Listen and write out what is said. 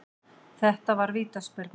Þetta var vítaspyrna